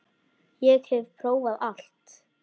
Ég hef prófað allt!